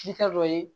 Sita dɔ ye